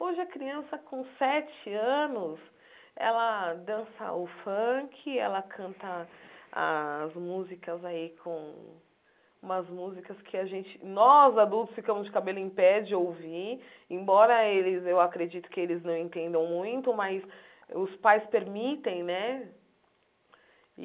Hoje, a criança com sete anos, ela dança o funk, ela canta as músicas aí com... umas músicas que a gente... nós, adultos, ficamos de cabelo em pé de ouvir, embora eles... eu acredito que eles não entendam muito, mas os pais permitem, né?